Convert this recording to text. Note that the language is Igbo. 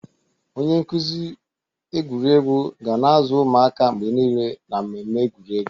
Onye nkuzi egwuregwu ga na-azụ ụmụaka mgbe niile na mmemme egwuregwu.